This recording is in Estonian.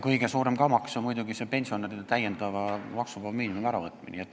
Kõige suurem kamakas on muidugi pensionäridelt täiendava maksuvaba miinimumi äravõtmine.